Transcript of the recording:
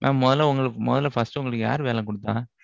mam முதல்ல, first உஹ் உங்களுக்கு, யாரு வேலை குடுத்தா?